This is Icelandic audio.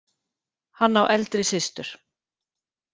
Hann á eldri systur.